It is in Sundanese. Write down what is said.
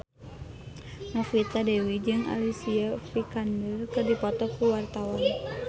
Novita Dewi jeung Alicia Vikander keur dipoto ku wartawan